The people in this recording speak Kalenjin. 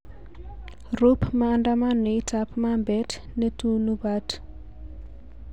Rub maandamanoit ab mambet netunubat